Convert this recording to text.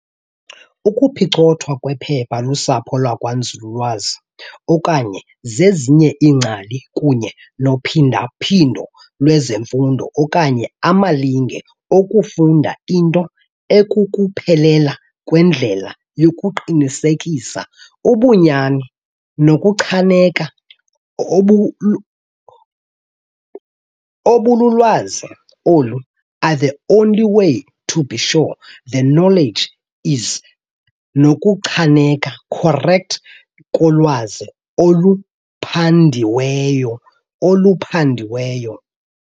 ukuphicothwa kwephepha lusapho lwakwanzululwazi okanye zezinye iingcali] kunye nophinda-phindo lwezifundo okanye amalinge okufunda into akukuphela kwendlela yokuqinisekisa ubunyani nokuchaneka obukulwazi olu are the only way to be sure the knowledge is nokuchaneka correct kolwazi oluphandiweyo.